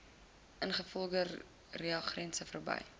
ingevoerde reagense verby